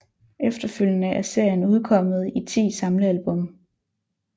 Efterfølgende er serien udkommet i ti samlealbum